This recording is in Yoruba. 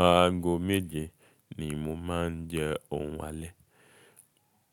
Aago méje ni mo máa ń jẹ oun alẹ́.